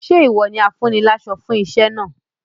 Ṣé ìwọ ni afúniláṣọ fún iṣẹ́ náà?